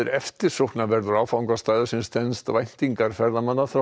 eftirsóknarverður áfangastaður sem stenst væntingar ferðamanna þrátt